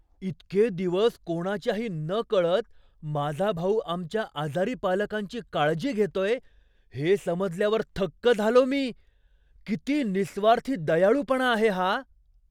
इतके दिवस कोणाच्याही नकळत माझा भाऊ आमच्या आजारी पालकांची काळजी घेतोय हे समजल्यावर थक्क झालो मी. किती निःस्वार्थी दयाळूपणा आहे हा.